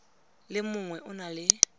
le mongwe o na le